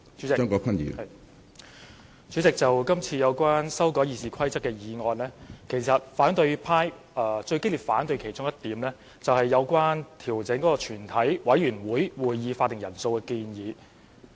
主席，就今次有關修改《議事規則》的建議，其實反對派最激烈反對的其中一點，是有關調整全體委員會會議法定人數的建議。